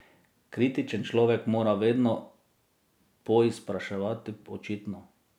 Kritičen človek mora vedno poizpraševati očitno.